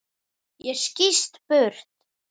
Ég skýst burt.